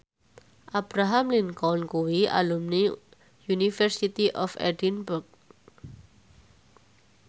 Abraham Lincoln kuwi alumni University of Edinburgh